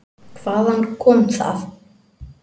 Hvaðan kom það?